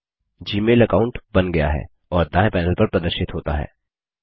Gmail account बन गया है और दाएँ पैनल पर प्रदर्शित होता है